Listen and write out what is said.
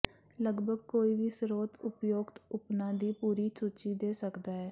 ਲਗਭਗ ਕੋਈ ਵੀ ਸਰੋਤ ਉਪਯੁਕਤ ਉਪਨਾਂ ਦੀ ਪੂਰੀ ਸੂਚੀ ਦੇ ਸਕਦਾ ਹੈ